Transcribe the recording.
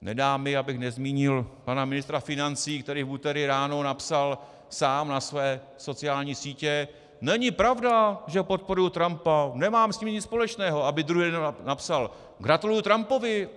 Nedá mi, abych nezmínil pana ministra financí, který v úterý ráno napsal sám na své sociální sítě: není pravda, že podporuju Trumpa, nemám s ním nic společného, aby druhý den napsal, gratuluju Trumpovi.